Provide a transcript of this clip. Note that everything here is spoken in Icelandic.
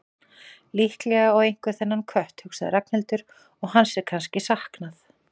Líklega á einhver þennan kött, hugsaði Ragnhildur, og hans er kannski saknað.